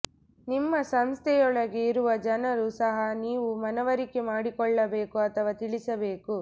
ನಿಮ್ಮ ಸಂಸ್ಥೆಯೊಳಗೆ ಇರುವ ಜನರು ಸಹ ನೀವು ಮನವರಿಕೆ ಮಾಡಿಕೊಳ್ಳಬೇಕು ಅಥವಾ ತಿಳಿಸಬೇಕು